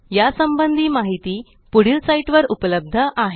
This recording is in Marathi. या संबंधी माहिती पुढील साईटवर उपलब्ध आहे